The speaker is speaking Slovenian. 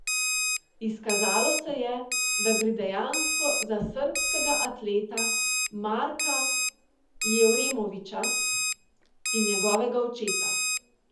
Izkazalo se je, da gre dejansko za srbskega atleta Marka Jevremovića in njegovega očeta.